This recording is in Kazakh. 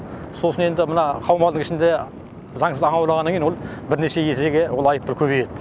сосын енді мына қаумалдың ішінде заңсыз аулағаннан кейін ол бірнеше есеге ол айыппұл көбейеді